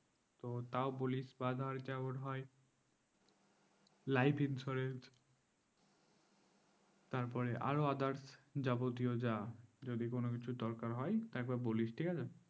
তো তাও বলিস life insurance তাপররে আরো other যাবতীয় যা যদি কোনো কিছু দরকার হয় একবার বলিস ঠিক আছে